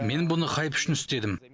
мен бұны хайп үшін істедім